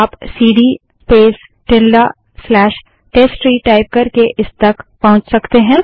आप CD space tilde slash test tree type करके इस तक पहुँच सकते हैं